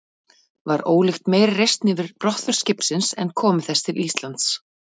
Var ólíkt meiri reisn yfir brottför skipsins en komu þess til Íslands.